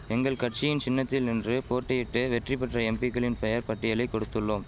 எங்கள் கட்சியின் சின்னத்தில் நின்று போட்டியிட்டு வெற்றிபெற்ற எம்பிக்களின் பெயர் பட்டியலை கொடுத்துள்ளோம்